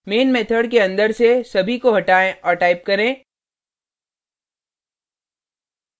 main method के अंदर से सभी को हटाएँ और type करें